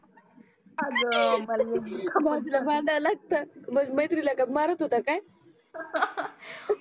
अग बाई भाऊजीला भांडाय लागत मग माझ्या मैत्रिणीला मारत होता काय